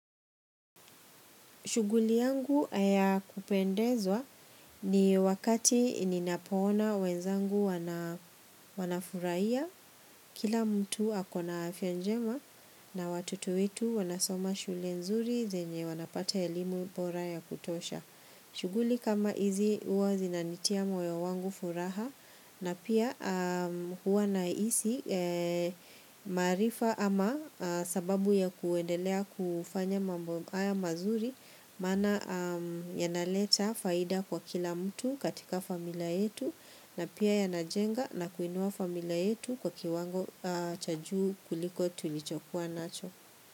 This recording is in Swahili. Shughuli yangu yakupendeza ni wakati ninapoona wenzangu wanafurahia kila mtu ako na afya njema na watoto wetu wanasoma shule nzuri zenye wanapata elimu bora ya kutosha. Shughuli kama hizi huwa zinanitia moyo wangu furaha na pia huwa na hisi maarifa ama sababu ya kuendelea kufanya mambo haya mazuri maana yanaleta faida kwa kila mtu katika familia yetu na pia yanajenga na kuinua familia yetu kwa kiwango cha juu kuliko tulichokuwa nacho.